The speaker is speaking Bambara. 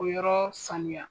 O yɔrɔ saniya.